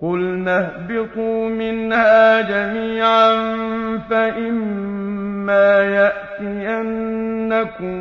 قُلْنَا اهْبِطُوا مِنْهَا جَمِيعًا ۖ فَإِمَّا يَأْتِيَنَّكُم